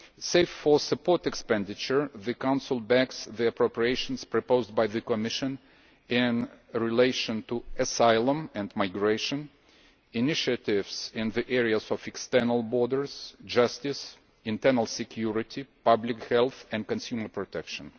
Save for support expenditure, the Council backs the appropriations proposed by the Commission in relation to asylum and migration, initiatives in the fields of external borders, justice, internal security, public health and consumer protection.